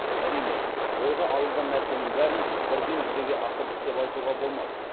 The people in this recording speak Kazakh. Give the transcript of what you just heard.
әрине ойға алынған нәрсенің бәрін бірден жүзеге асырдық деп айтуға болмас